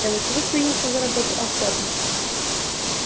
белый клык принялся за работу охотно